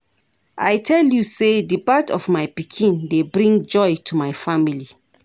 I tell you sey di birth of my pikin dey bring joy to my family.